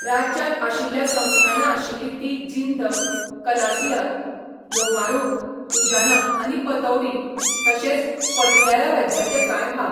राज्यांत आशिल्ल्या संस्थानां आशिल्लीं तीं जिंद, कलसिया, लोहारू, दुजाना आनी पतौडी, तशेंच पटियाला राज्याचे कांय भाग.